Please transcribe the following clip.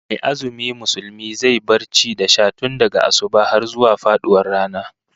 Mai azumi Musulmi zai bar ci da sha tun daga asubah har zuwa faduwar rana